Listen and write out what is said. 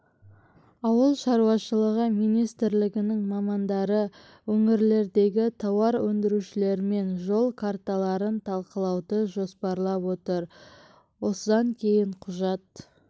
ауыл шаруашылығы министрлігінің мамандары өңірлердегі тауар өндірушілермен жол карталарын талқылауды жоспарлап отыр осыдан кейін құжат